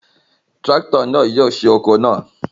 Tirakito náà yóò ṣe oko náà